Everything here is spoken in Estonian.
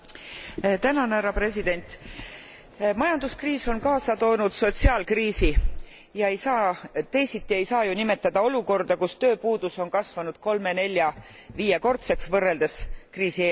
Härra president! Majanduskriis on kaasa toonud sotsiaalkriisi teisiti ei saa ju nimetada olukorda, kus tööpuudus on kasvanud kolme nelja viiekordseks, võrreldes kriisieelse ajaga.